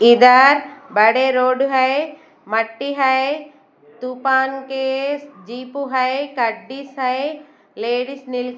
इधर बड़े रोड है मट्टी है दुपान केस जीप उ है कड्डीस है लेडिस नील --